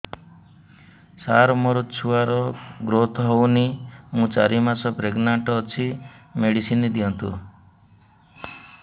ସାର ମୋର ଛୁଆ ର ଗ୍ରୋଥ ହଉନି ମୁ ଚାରି ମାସ ପ୍ରେଗନାଂଟ ଅଛି ମେଡିସିନ ଦିଅନ୍ତୁ